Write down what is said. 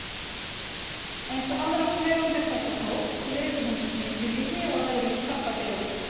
Eins og aðrar tegundir þessa hóps lifir hún sníkjulífi á öðrum krabbadýrum.